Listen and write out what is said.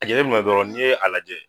A jateminɛ dɔrɔon n'i ye a lajɛ.